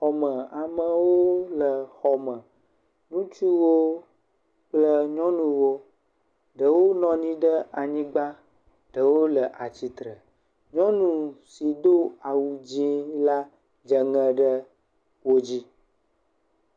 Xɔme. Amewoo le xɔme. Ŋutsuwo kple nyɔnuwo, ɖewo nɔ nyi ɖe anyigba, ɖewo le atsitre. Nyɔnu so do awu dzɛ̃ɛ̃ la dze ŋɛ ɖe wo dzi.